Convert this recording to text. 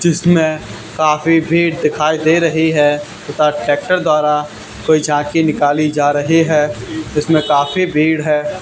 जिसमें काफी भीड़ दिखाई दे रही है तथा ट्रैक्टर द्वारा कोई झांकी निकाली जा रहे हैं इसमें काफी भीड़ है।